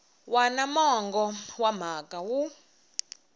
wana mongo wa mhaka wu